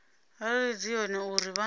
arali dzi hone uri vha